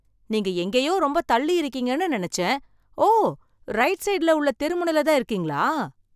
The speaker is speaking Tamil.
நீங்க எங்கேயோ ரொம்ப தள்ளி இருக்கீங்கன்னு நினைச்சேன். ஓ, ரைட் சைட்ல உள்ள தெருமுனைல தான் இருக்கீங்களா!